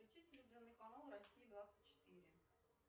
включи телевизионный канал россия двадцать четыре